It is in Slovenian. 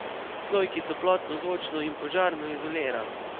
Sloj, ki toplotno, zvočno in požarno izolira.